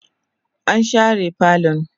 an share falon